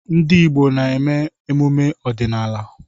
Ndị Igbo na-eme emume ọdịnala.